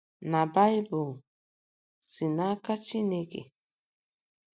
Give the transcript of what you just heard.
NA BAỊBỤL SI N’AKA CHINEKE?